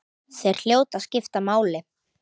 Þeir hljóta að skipta máli.